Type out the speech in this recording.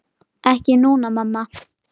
Ekki núna, mamma.